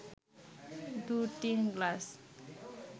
দু-তিন গ্লাস